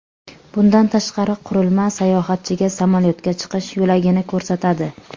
Bundan tashqari, qurilma sayohatchiga samolyotga chiqish yo‘lagini ko‘rsatadi.